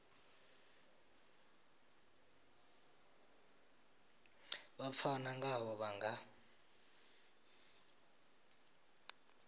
vha pfana ngaho vha nga